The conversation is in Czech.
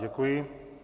Děkuji.